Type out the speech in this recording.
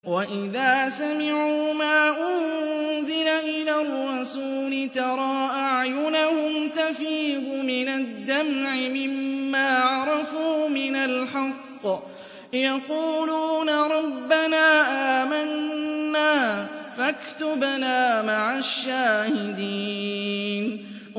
وَإِذَا سَمِعُوا مَا أُنزِلَ إِلَى الرَّسُولِ تَرَىٰ أَعْيُنَهُمْ تَفِيضُ مِنَ الدَّمْعِ مِمَّا عَرَفُوا مِنَ الْحَقِّ ۖ يَقُولُونَ رَبَّنَا آمَنَّا فَاكْتُبْنَا مَعَ الشَّاهِدِينَ